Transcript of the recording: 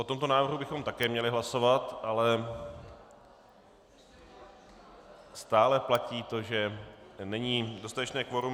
O tomto návrhu bychom také měli hlasovat, ale stále platí to, že není dostatečné kvorum.